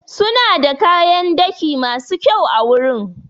Suna da kayan daki masu kyau awurin.